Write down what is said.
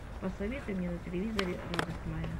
посоветуй мне на телевизоре радость моя